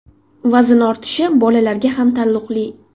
Vazn ortishi bolalarga ham taalluqli.